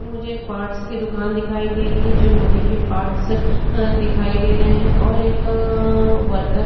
मुझे एक पार्ट्स की दुकान दिखाई दे रही है जो लोहे के पार्ट्स अ दिखाई दे रहे हैं और एक अ वर्कर --